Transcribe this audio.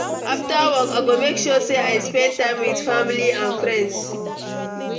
After work, I go make sure say I spend time with family and friends.